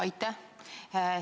Aitäh!